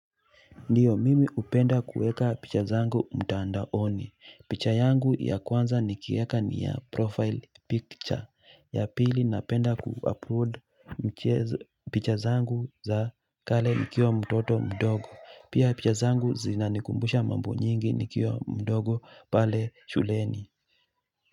Ndiyo mimi upenda kueka picha zangu mtandaoni. Picha yangu ya kwanza nikiweka ni ya profile picture ya pili napenda ku-upload picha zangu za kale nikiwa mtoto mdogo. Pia picha zangu zinanikumbusha mambo nyingi nikiwa mdogo pale shuleni.